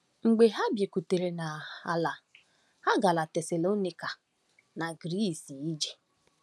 Mgbe ha bikwutere n’ala, ha gara Thessalonica n’Greece ije.